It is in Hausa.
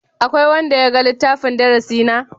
Akwai wanda ya ga littafin darasi na?